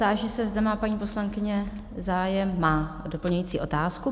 Táži se, zda má paní poslankyně zájem o doplňující otázku?